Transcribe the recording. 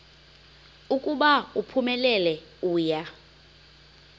ukuba uphumelele uya